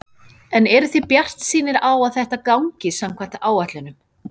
En eruð þið bjartsýnir á að þetta gangi samkvæmt áætlunum?